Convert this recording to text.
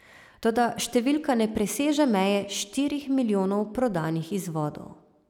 Toda številka ne preseže meje štirih milijonov prodanih izvodov.